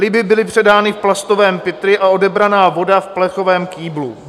Ryby byly předány v plastovém pytli a odebraná voda v plechovém kýblu.